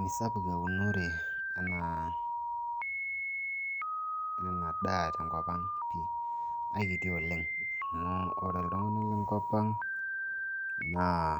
misapuk eunore ena daa tenkop ang pii aikiti oleng amu ore iltung'anak lenkop ang naa